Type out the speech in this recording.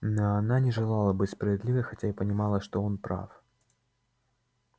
но она не желала быть справедливой хотя и понимала что он прав